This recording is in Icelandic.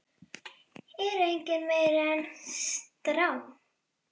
er engu meiri en strá.